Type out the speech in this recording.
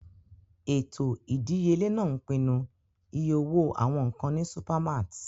Ètò ìdíyelé náà ń pinnu iye owó àwọn nkan ní supermarts.